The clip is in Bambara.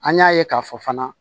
An y'a ye k'a fɔ fana